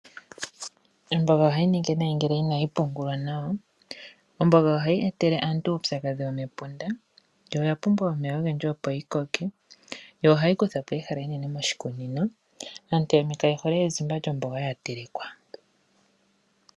Omboga ohayi ningi nayi ngele inayi pungulwa nawa. Omboga ohayi etele aantu uupyakadhi womepunda yo oya pumbwa omeya ogendji opo yi koke yo ohayi kutha po ehala enene moshikunino. Aantu yamwe kayehole ezimba lyomboga yatelekwa.